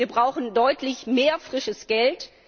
Wir brauchen deutlich mehr frisches Geld.